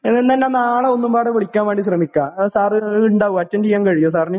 ഏതായാലും ഞാൻ നാളെ ഒരുതവണ കൂടി വിളിക്കാൻ ശ്രമിക്കാം . സാറിനു അറ്റൻഡ് ചെയ്യാൻ സാധിക്കുമോ സാറിന്